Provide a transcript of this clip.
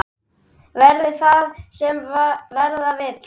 Verði það sem verða vill!